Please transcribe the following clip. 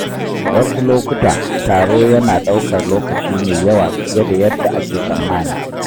Wasu lokuta, taro yana ɗaukar lokaci mai yawa fiye da yadda ake tsammani.